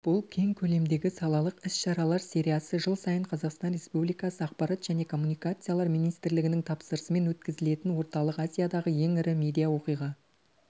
бұл кең көлемдегі салалық іс-шаралар сериясы жыл сайын қазақстан республикасы ақпарат және коммуникациялар министрлігінің тапсырысымен өткізілетін орталық азиядағы ең ірі медиа-оқиға